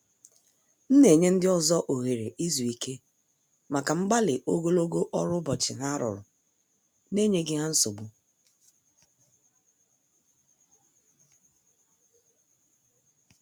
M na- enye ndị ọzọ oghere izu ike maka mgbali ogologo ọrụ ụbọchị ha rụrụ na- enyeghi ha nsogbu.